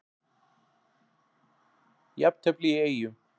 Jafntefli í Eyjum